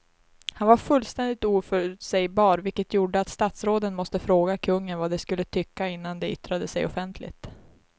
Han var fullständigt oförutsägbar vilket gjorde att statsråden måste fråga kungen vad de skulle tycka innan de yttrade sig offentligt.